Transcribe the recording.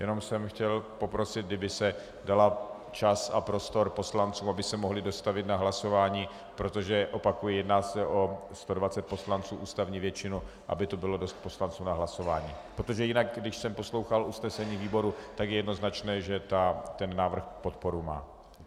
Jenom jsem chtěl poprosit, kdyby se dal čas a prostor poslancům, aby se mohli dostavit na hlasování, protože, opakuji, jedná se o 120 poslanců, ústavní většinu, aby tu bylo dost poslanců na hlasování, protože jinak když jsem poslouchal usnesení výborů, tak je jednoznačné, že ten návrh podporu má.